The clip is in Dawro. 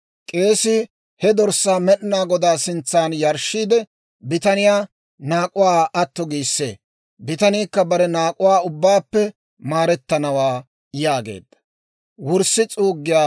K'eesii he dorssaa Med'inaa Godaa sintsan yarshshiide, bitaniyaa naak'uwaa atto giissee; bitaniikka bare naak'uwaa ubbaappe maarettanawaa» yaageedda.